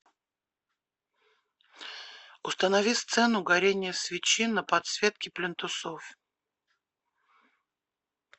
установи сцену горение свечи на подсветке плинтусов